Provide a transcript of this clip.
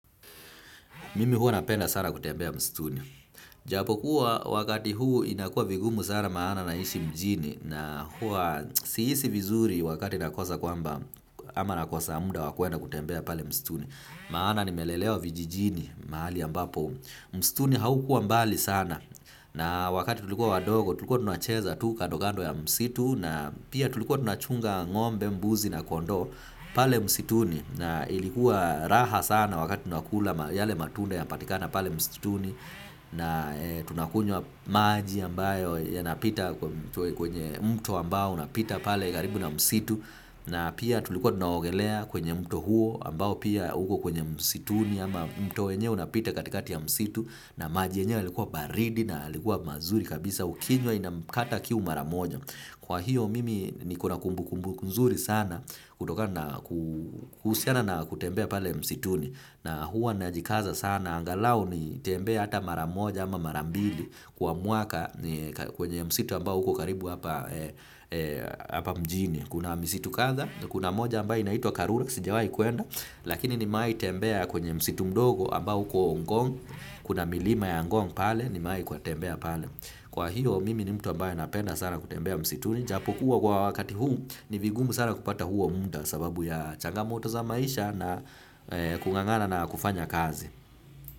Mimi huwa napenda sana kutembea msituni. Japo kuwa wakati huu inakuwa vigumu sana maana naishi mjini na hua sihisi vizuri wakati nakosa kwamba ama nakosa muda wakwenda kutembea pale msituni. Maana nimelelewa vijijini mahali ambapo msituni haukua mbali sana na wakati tulikuwa wadogo tulikuwa tunacheza tu kandokando ya msitu na pia tulikuwa tunachunga ngombe mbuzi na kondoo pale msituni. Na ilikuwa raha sana wakati tunakula yale matunda yanapatikana pale msituni na tunakunywa maji ambayo yanapita kwenye mto ambao unapita pale karibu na msitu na pia tulikuwa tunaogelea kwenye mto huo ambao pia uko kwenye msituni ama mto wenyewe unapita katikati ya msitu na maji yemyewe yalikuwa baridi na yalikuwa mazuri kabisa ukinywa inakata kiu mara moja. Kwa hiyo mimi nikona kumbu kumbu nzuri sana kutoka na kuhusiana na kutembea pale msituni na huwa najikaza sana. Angalau nitembee hata maramoja ama marambili kwa mwaka kwenye msitu ambao uko karibu hapa mjini. Kuna misitu kadha, kuna moja ambayo inaitwa karura, sijawahi kuenda, lakini nmewahii i tembea kwenye msitu mdogo ambao iko ngong, kuna milima ya ngong pale, nimewahikwa kutembea pale. Kwa hiyo, mimi ni mtu ambaye napenda sana kutembea msituni, japokuwa kwa wakati huu, ni vigumu sana kupata huo muda sababu ya changa moto za maisha na kungangana na kufanya kazi.